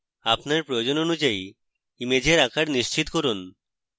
আপনার প্রয়োজন অনুযায়ী ইমেজের আকার নিশ্চিত করুন